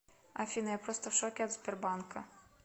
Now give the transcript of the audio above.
афина я просто в шоке от сбербанка